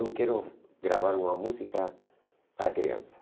Eu quero gravar uma música para criança.